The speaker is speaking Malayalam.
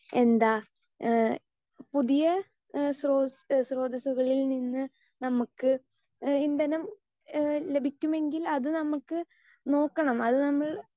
സ്പീക്കർ 2 എന്താ എഹ് പുതിയ ഏഹ് സ്രോത ഏഹ് സ്രോതസ്സുകളില് നിന്ന് നമുക്ക് അ ഇന്ധനം ഏഹ് ലഭിക്കുമെങ്കിൽ അത് നമുക്ക് നോക്കണം അത് നമ്മൾ